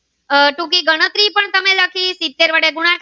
આહ ટૂંકી ગણતરી પણ તમે લખી સીતેર વડે ગુણાકાર.